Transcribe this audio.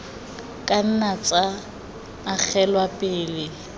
ka nna tsa agelwa pele